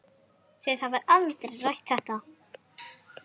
Þið hafið aldrei rætt þetta?